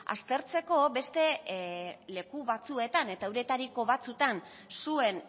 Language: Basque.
aztertzeko beste leku batzuetan eta euretariko batzuetan zuen